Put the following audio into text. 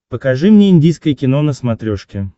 покажи мне индийское кино на смотрешке